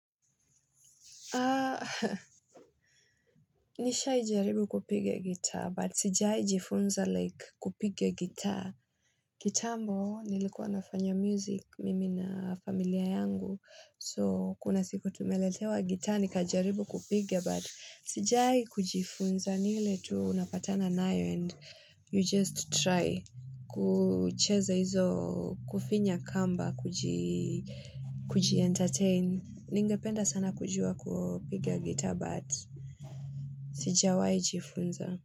Nishaijaribu kupigia gitaa, but sijaijifunza like kupiga gitaa. Kitambo, nilikuwa nafanya music mimi na familia yangu. So, kuna siku tumeletewa gitaa nikajaribu kupigia, but sijai kujifunza ni ile tu unapatana nayo and you just try kucheza hizo kufinya kamba, kujientertain. Ningependa sana kujua kupiga gitaa but sijawahi jifunza.